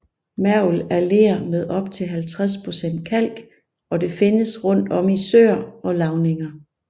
Mergel er ler med op til 50 procent kalk og det findes rundt om i søer og lavninger